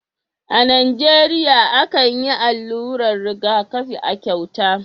A Nijeriya akan yi allurar rigakafi a cauta